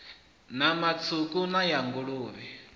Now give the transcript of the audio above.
nama tswuku nama ya nguluvhe